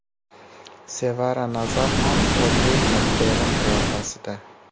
Sevara Nazarxon Odri Xepbern qiyofasida.